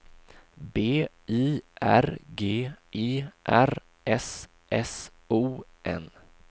B I R G E R S S O N